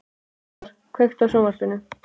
Úlfar, kveiktu á sjónvarpinu.